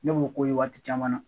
Ne b'u ko ye waati caman na.